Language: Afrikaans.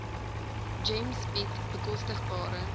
gems bied bekostigbare